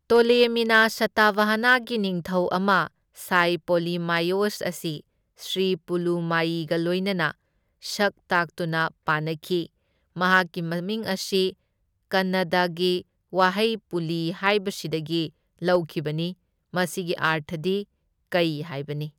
ꯇꯣꯂꯦꯃꯤꯅ ꯁꯇꯚꯍꯅꯒꯤ ꯅꯤꯡꯊꯧ ꯑꯃ ꯁꯥꯏ ꯄꯣꯂꯤꯃꯥꯏꯑꯣꯁ ꯑꯁꯤ ꯁ꯭ꯔꯤ ꯄꯨꯂꯨꯃꯥꯏꯌꯤꯒ ꯂꯣꯏꯅꯅ ꯁꯛ ꯇꯥꯛꯇꯨꯅ ꯄꯥꯅꯈꯤ, ꯃꯍꯥꯛꯀꯤ ꯃꯃꯤꯡ ꯑꯁꯤ ꯀꯟꯅꯗꯒꯤ ꯋꯥꯍꯩ ꯄꯨꯂꯤ ꯍꯥꯏꯕꯁꯤꯗꯒꯤ ꯂꯧꯈꯤꯕꯅꯤ, ꯃꯁꯤꯒꯤ ꯑꯔꯊꯗꯤ ꯀꯩ ꯍꯥꯏꯕꯅꯤ꯫